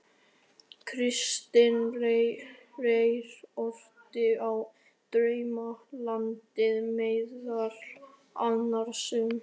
Kristinn Reyr orti í Draumalandinu meðal annars um